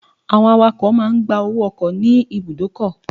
Drivers collect transport fare at the bus stop